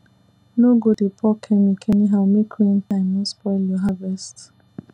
no go dey pour chemic anyhow make rain time no spoil your harvest